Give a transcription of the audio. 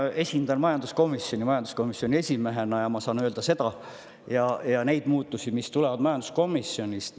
Mina esindan majanduskomisjoni majanduskomisjoni esimehena ja ma saan rääkida nendest muudatustest, mis tulevad majanduskomisjonist.